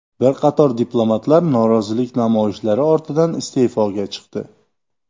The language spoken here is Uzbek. Bir qator diplomatlar norozilik namoyishlari ortidan iste’foga chiqdi.